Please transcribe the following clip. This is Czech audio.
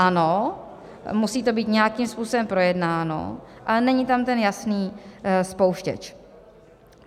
Ano, musí to být nějakým způsobem projednáno, ale není tam ten jasný spouštěč.